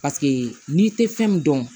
Paseke n'i tɛ fɛn min dɔn